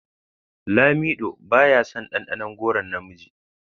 Lamido baya son dandanon goron na miji.